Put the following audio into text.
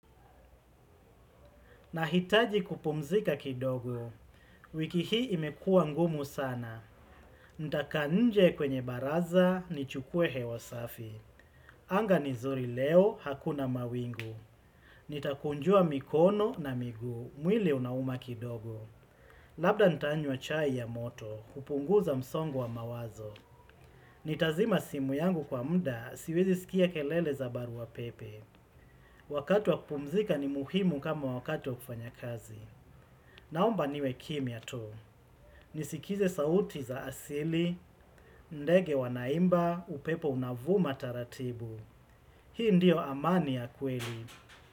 Nahitaji kupumzika kidogo, wiki hii imekua ngumu sana. Ntakaa nje kwenye baraza, nichukue hewa safi. Anga ni zuri leo, hakuna mawingu. Nitakunjua mikono na miguu, mwili unauma kidogo. Labda ntanywa chai ya moto, kupunguza msongo wa mawazo. Nitazima simu yangu kwa mda, siwezi sikia kelele za barua pepe. Wakati wa kupumzika ni muhimu kama wakati wa kufanya kazi. Naomba niwe kimya tu. Nisikize sauti za asili, ndege wanaimba upepo unavuma taratibu. Hii ndio amani ya kweli.